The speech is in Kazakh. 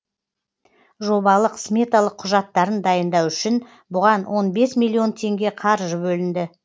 жобалық сметалық құжаттарын дайындау үшін бұған он бес миллион теңге қаржы бөлінді